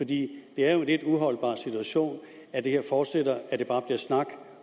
det er jo en lidt uholdbar situation at det her fortsætter og at det bare bliver snak